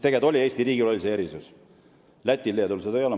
Eesti riigil oli see erisus, Lätil ja Leedul seda ei ole.